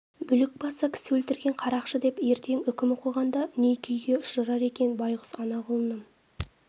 бүлік басы кісі өлтірген қарақшы деп ертең үкім оқығанда не күйге ұшырар екен байқұс ана құлыным